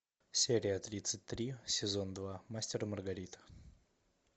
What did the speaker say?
серия тридцать три сезон два мастер и маргарита